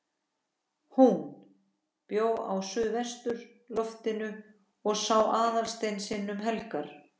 HÚN bjó á suðurloftinu og sá Aðalstein sinn um helgar.